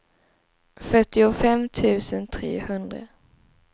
fyrtiofem tusen trehundra